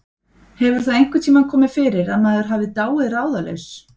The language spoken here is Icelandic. hefur það einhvern tíma komið fyrir að maður hafi dáið ráðalaus